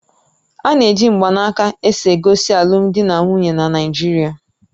Ana eji mgbanaka esogosi alụmdi na nwunye na Naijiria